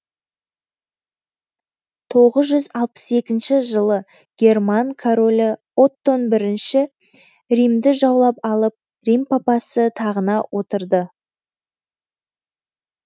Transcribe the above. тоғыз жүз алпыс екінші жылы герман королі оттон бірінші римді жаулап алып рим папасы тағына отырды